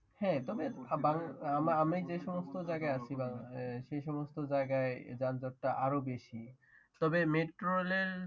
হ্যাঁ তবে আমি যে সমস্ত জায়গায় আছি সে সমস্ত জায়গায় যানযট টা আরো বেশি তবে মেট্রোরেল